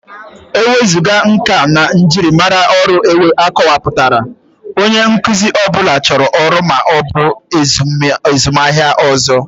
Ewezuga nka na njirimara ọrụ akọwapụtara, onye nkuzi ọ bụla chọrọ ọrụ ma ọ bụ azụmaahịa ọzọ.